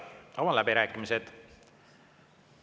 Avan läbirääkimised.